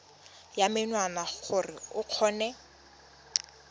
ya menwana gore o kgone